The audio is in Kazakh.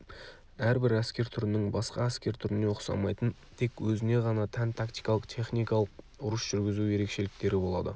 әрбір әскер түрінің басқа әскер түріне ұқсамайтын тек өзіне ғана тән тактикалық техникалық ұрыс жүргізу ерекшеліктері болады